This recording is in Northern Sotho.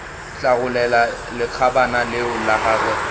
hlagolela lekgabana leo la gagwe